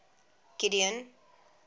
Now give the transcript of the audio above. gideon